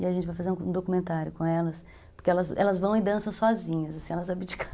E a gente vai fazer um documentário com elas, porque elas elas vão e dançam sozinhas, elas abdicam.